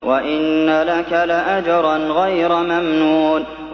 وَإِنَّ لَكَ لَأَجْرًا غَيْرَ مَمْنُونٍ